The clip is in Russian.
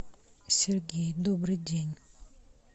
сергей добрый день